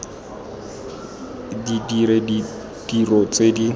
di dire ditiro tse di